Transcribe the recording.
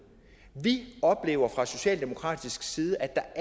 vi oplever fra socialdemokratisk side